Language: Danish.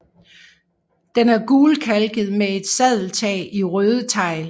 Den er gulkalket med et sadeltag i røde tegl